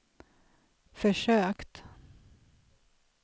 försökt